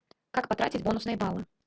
как потратить бонусные баллы